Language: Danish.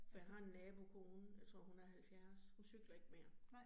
For jeg har en nabokone, jeg tror hun er 70. Hun cykler ikke mere